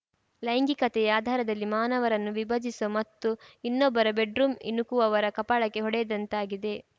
ಲೈಂಗಿಕತೆಯ ಆಧಾರದಲ್ಲಿ ಮಾನವರನ್ನು ವಿಭಜಿಸುವ ಮತ್ತು ಇನ್ನೊಬ್ಬರ ಬೆಡ್‌ರೂಂ ಇಣುಕುವವರ ಕಪಾಳಕ್ಕೆ ಹೊಡೆದಂತಾಗಿದೆ